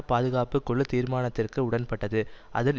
பாதுகாப்பு குழு தீர்மானத்திற்கு உடன்பட்டது அதில்